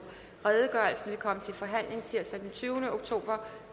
til forhandling tirsdag den tyvende oktober